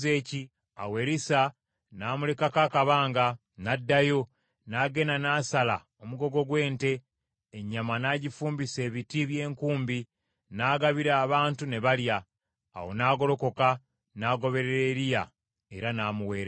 Awo Erisa n’amulekako akabanga, n’addayo, n’agenda n’asala omugogo gw’ente, ennyama n’agifumbisa ebiti by’enkumbi, n’agabira abantu ne balya. Awo n’agolokoka n’agoberera Eriya era n’amuweerezanga.